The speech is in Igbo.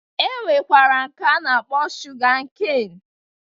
E nwekwara nke a na-akpọ shuga keen